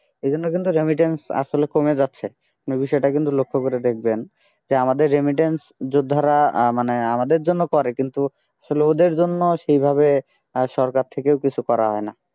এই জন্য কিন্তু remittance আসলে কমে যাচ্ছে আপনি বিষয়টা কিন্তু লক্ষ্য করে দেখবেন যে আমাদের remittance যোদ্ধারা আহ মানে আমাদের জন্য করে কিন্তু আসলে ওদের জন্য সেইভাবে আর সরকার থেকেও কিছু করা হয় না